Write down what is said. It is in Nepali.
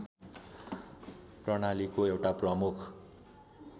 प्रणालीको एउटा प्रमुख